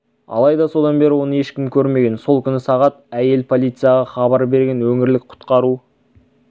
алайда содан бері оны ешкім көрмеген сол күні сағат әйел полицияға хабар берген өңірлік құтқару